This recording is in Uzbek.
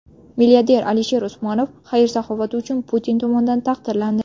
Milliarder Alisher Usmonov xayr-saxovati uchun Putin tomonidan taqdirlandi.